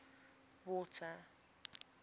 water